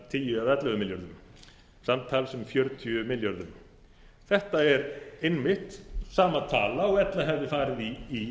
tíu eða ellefu milljörðum samtals um fjörutíu milljörðum þetta er einmitt sama tala og hefði farið í